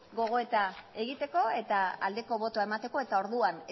gogoeta egiteko eta aldeko botoa emateko eta orduan